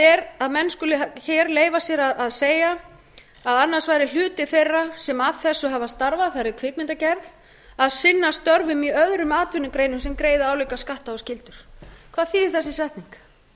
er að menn skuli leyfa sér að segja að annars væri hluti þeirra sem að þessu hafa starfað það er í kvikmyndagerð að sinna störfum í öðrum atvinnugreinum sem greiða álíka skatta og skyldur hvað þýðir þessi setning